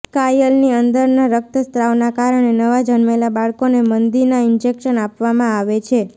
સ્કાયલની અંદરના રક્તસ્રાવના કારણે નવાં જન્મેલા બાળકોને મંદીના ઇન્જેક્શન્સ આપવામાં આવે છે